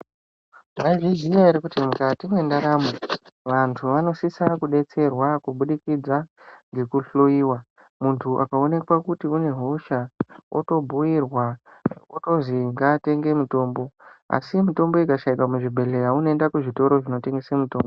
Mwaizviziya ere kuti mukati mwendaramo vanto vanosisa kudetserwa kubudikidza ngekuhloyiwa muntu akaonekwa kuti une hosha otobhuirwa otozi ngaatenge mutombo asi mitombo ikashaikwa muzvibhedhleya unoenda kuzvitoro zvinotengese mitombo.